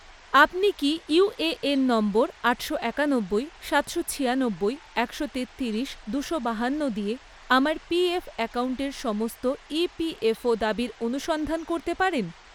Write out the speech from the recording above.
আপনি কি UAN number আটশো একানব্বই, সাতশো ছিয়ানব্বই, একশো তেত্তিরিশ, দুশো বাহান্ন দিয়ে আমার পিএফ অ্যাকাউন্টের সমস্ত ইপিএফও দাবির অনুসন্ধান করতে পারেন?